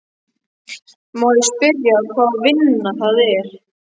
Má ég spyrja hvaða vinna það er?